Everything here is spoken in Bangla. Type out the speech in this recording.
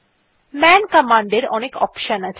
মান কমান্ডের অনেক অপশন আছে